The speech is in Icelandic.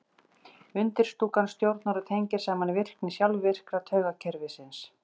Undirstúkan stjórnar og tengir saman virkni sjálfvirka taugakerfisins.